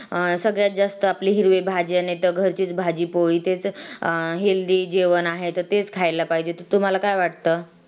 अं सगळ्यात जास्त आपली हिरवी भाजी नाही त घरचीच भाजी पोळी तेच healthy जेवण आहे. तर तेच खायला पाहिजे. तर तुम्हाला काय वाटत?